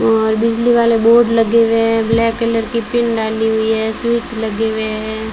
और बिजली वाले बोर्ड लगे हुए हैं ब्लैक कलर की पिन डाली हुई है स्विच लगे हुए हैं।